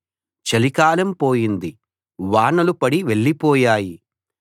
చలికాలం పోయింది వానలు పడి వెళ్ళిపోయాయి